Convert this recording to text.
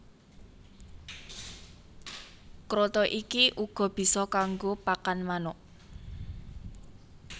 Kroto iki uga bisa kanggo pakan manuk